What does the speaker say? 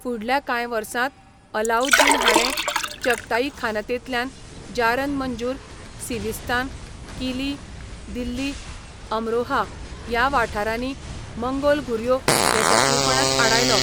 फुडल्या कांय वर्सांत अलाउद्दीन हाणें चगताईखानतेंतल्यान, जारन मंजूर, सिविस्तान, किली, दिल्ली, अमरोहा ह्या वाठारांनी मंगोल घुरयो येसस्वीपणान आडायलो.